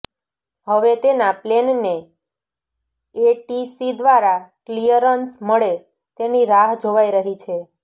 હવે તેનાં પ્લેનને એટીસી દ્વારા ક્લિયરન્સ મળે તેની રાહ જોવાઇ રહી છે